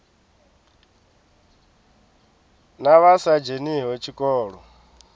na vha sa dzheniho tshikolo